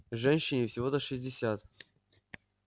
женщине всего-то шестьдесят